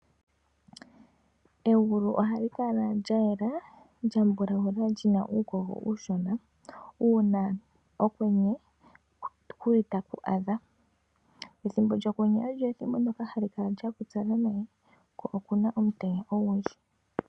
Egulu ohalikala lya yela lyaninga embulawu kuna uukogo uushona uuna okwenye taku adha . Ethimbo lyokwenye olyo ethimbo ndoka hali kala lyapupyala nawa ko okuna omutenya ogundji.